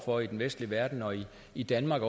for i den vestlige verden og i danmark